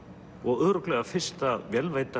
og örugglega fyrsta